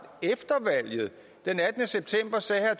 efter valget den attende september sagde herre